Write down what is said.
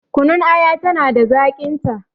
Kunun aya tana da zaƙin ta